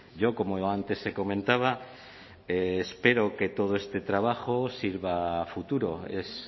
yo como antes se comentaba espero que todo este trabajo sirva a futuro es